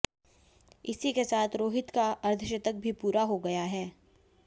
इसी के साथ रोहित का अर्धशतक भी पूरा हो गया है